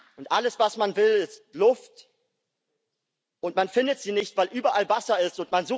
Und alles was man will ist Luft, und man findet sie nicht, weil überall Wasser ist.